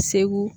Segu